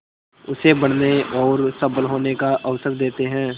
उसे बढ़ने और सबल होने का अवसर देते हैं